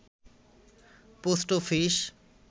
post office